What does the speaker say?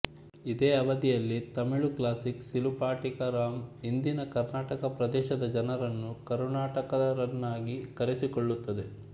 ಇದೇ ಅವಧಿಯಲ್ಲಿ ತಮಿಳು ಕ್ಲಾಸಿಕ್ ಸಿಲುಪಟಿಕರಾಮ್ ಇಂದಿನ ಕರ್ನಾಟಕ ಪ್ರದೇಶದ ಜನರನ್ನು ಕರುಣಾಟಕರನ್ನಾಗಿ ಕರೆಸಿಕೊಳ್ಳುತ್ತದೆ